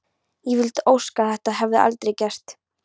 Ég vildi óska að þetta hefði aldrei gerst.